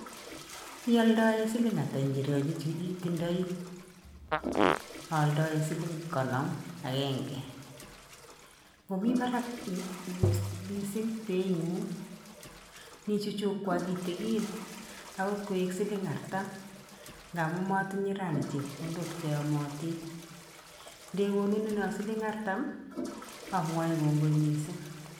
Ialdae siling ata njirenik chu itindoii? Aaldae siling konom agenge. Ngomii barak missing bei ng'ung'. Ni chuchukwa kitigin agot koek siling artem. Ngamuu matinye rani chepkondik cheyomotin. Ndekonuneno siling artam amwae kongoi mising.